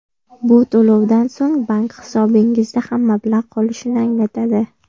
Bu to‘lovdan so‘ng bank hisobingizda ham mablag‘ qolishini anglatadi.